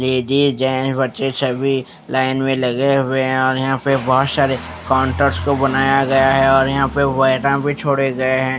Ladies gents बच्चे सभी line में लगे हुए हैं और यहां पे बहुत सारे काउंटर्स को बनाया गया है और यहां पे भी छोड़े गए हैं।